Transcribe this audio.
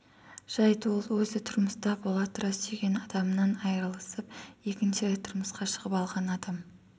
жайт ол өзі тұрмыста бола тұра сүйген адамынан айырылысып екінші рет тұрмысқа шығып алған адам